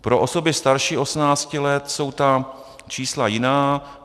Pro osoby starší 18 let jsou ta čísla jiná.